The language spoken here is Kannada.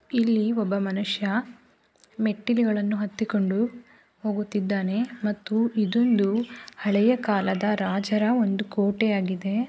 ಇಲ್ಲಿ ಒಬ್ಬ ಮನುಷ್ಯ ಮೆಟ್ಟಿಲುಗಳನ್ನು ಹತ್ತಿಕೊಂಡು ಹೋಗುತ್ತಿದ್ದಾನೆ ಮತ್ತು ಇದೊಂದು ಹಳೆಯ ಕಾಲದ ರಾಜರ ಒಂದು ಕೋಟೆಯಾಗಿದೆ.